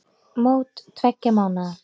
Mót tveggja mánaða.